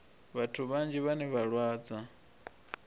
vhathu vhanzhi vhane vha lwadzwa